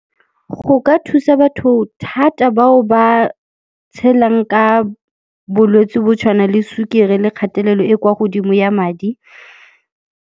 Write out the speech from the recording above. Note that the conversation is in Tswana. Go ka thusa batho thata bao ba tshelang ka bolwetsi bo tshwana le sukiri le kgatelelo e kwa godimo ya madi.